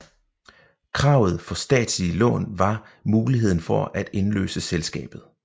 Kravet for statslige lån var muligheden for at indløse selskabet